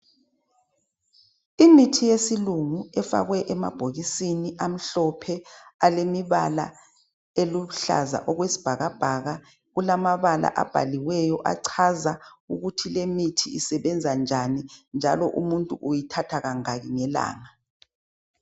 Imithi yesilungu efakwe emabhokisini amhlophe alemibala eluhlaza okwesibhakabhaka kulamabala ababhaliweyo achaza ukuthi lemithi isebenza njani njalo umuntu uyithatha kangaki ngelanga